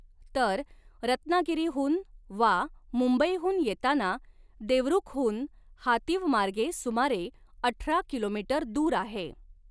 तर रत्नागिरीहून वा मुंबईहून येताना देवरूखहून हातीव मार्गे सुमारे अठरा किमी दूर आहे.